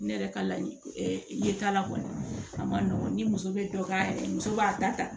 Ne yɛrɛ ka laɲini ye t'a la kɔni a ma nɔgɔn ni muso bɛ dɔ k'a yɛrɛ ye muso b'a ta ta